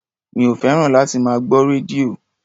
Mi ò fẹ́ràn láti máa gbọ́ rédíò.